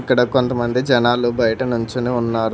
ఇక్కడ కొంతమంది జనాలు బయట నుంచుని ఉన్నారు.